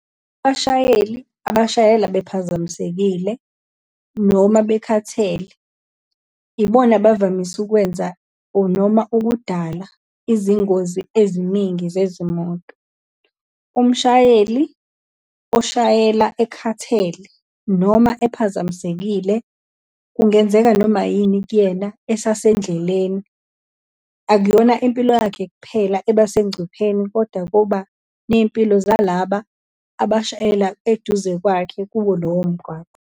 Abashayeli, abashayele bephazamisekile, noma bekhathele ibona bavamise ukwenza, or noma ukudala izingozi eziningi zezimoto. Umshayeli, oshayela ekhathele, noma ephazamisekile, kungenzeka noma yini kuyena esasendleleni. Akuyona impilo yakhe kuphela abasegcupheni kodwa kuba neyimpilo zalaba abashayela eduze kwakhe, kuwo lowo mgwaqo.